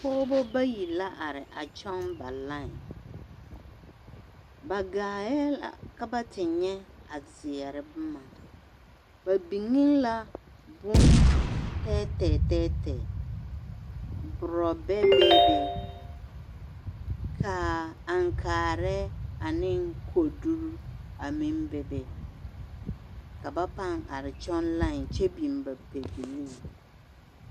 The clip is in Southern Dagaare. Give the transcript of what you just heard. Pɔɔbɔ bayi la a are a kyɔɡe ba lai ba ɡaaɛ la ka ba te nyɛ a zeɛre boma ba biŋ la bontɛɛtɛɛ burɔbɛ beebe ka aŋkaarɛɛ ane koduri a meŋ bebe ka ba paŋ are kyɔɡe lai kyɛ biŋ ba pɛbilii.